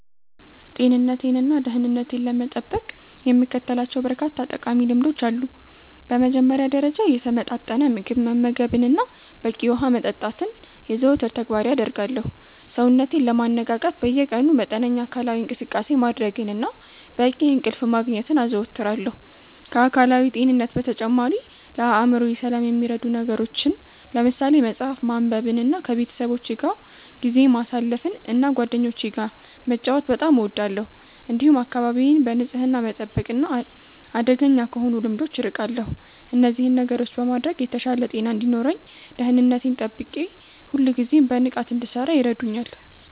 ጤንነቴንና ደህንነቴን ለመጠበቅ የምከተላቸው በርካታ ጠቃሚ ልምዶች አሉ። በመጀመሪያ ደረጃ፣ የተመጣጠነ ምግብ መመገብንና በቂ ውሃ መጠጣትን የዘወትር ተግባሬ አደርጋለሁ። ሰውነቴን ለማነቃቃት በየቀኑ መጠነኛ አካላዊ እንቅስቃሴ ማድረግንና በቂ እንቅልፍ ማግኘትን አዘወትራለሁ። ከአካላዊ ጤንነት በተጨማሪ፣ ለአእምሮዬ ሰላም የሚረዱ ነገሮችን ለምሳሌ መጽሐፍ ማንበብንና ከቤተሰቦቼ ጋር ጊዜ ማሳለፍን እና ጓደኞቼ ጋር መጫወት በጣም እወዳለሁ። እንዲሁም አካባቢዬን በንጽህና መጠበቅና አደገኛ ከሆኑ ልምዶች አርቃለሁ። እነዚህን ነገሮች በማድረግ የተሻለ ጤና እንዲኖረኝ እና ደህንነቴን ጠብቄ ሁልጊዜም በንቃት እንድሠራ ይረዱኛል።